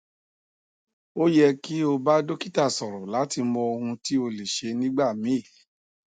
o yẹ ki o ba dokita sọrọ lati mọ ohun ti o le ṣe nigbamii